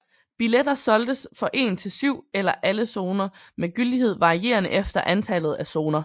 Billetter solgtes for en til syv eller alle zoner med gyldighed varierende efter antallet af zoner